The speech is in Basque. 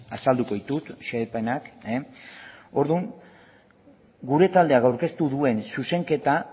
azalduko ditut xehepenak orduan gure taldeak aurkeztu duen zuzenketa